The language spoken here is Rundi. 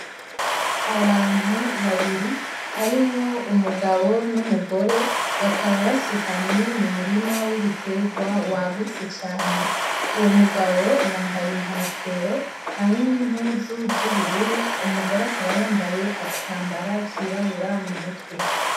Abantu babiri harimwo umugabo n'umugore bakaba basutamye mu murima w'ibiterwa wagutse cane uwo mugabo yambaye inkofero hamwe n'impuzu z'ubururu umugore akabayambaye agatambara kirabura mu mutwe.